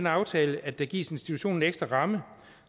aftale at der gives institutionen en ekstra ramme